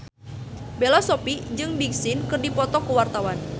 Bella Shofie jeung Big Sean keur dipoto ku wartawan